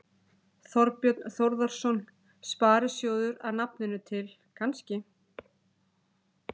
Þorbjörn Þórðarson: Sparisjóðir að nafninu til, kannski?